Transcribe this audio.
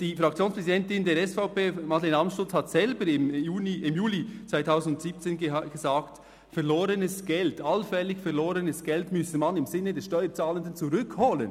Die Fraktionspräsidentin der SVP, Madeleine Amstutz, hat selber im Juni/Juli 2017 gesagt, verlorenes Geld, allfällig verlorenes Geld, müsse man im Sinne der Steuerzahlenden zurückholen.